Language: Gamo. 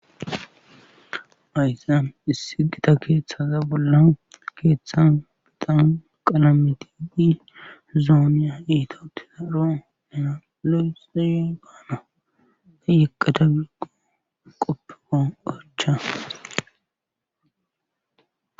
Fhayzaan issi gita keeththaza bolla keeththan bidan qalameti dii zoonya iito tisaro nena lo'sey gaana tayeqatha giggo qoppeko orcha.